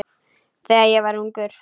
Þegar ég var ungur.